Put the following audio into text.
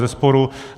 Bezesporu.